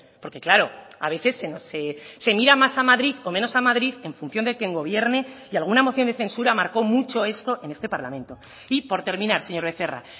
porque claro a veces se mira más a madrid o menos a madrid en función de quien gobierne y alguna moción de censura marcó mucho esto en este parlamento y por terminar señor becerra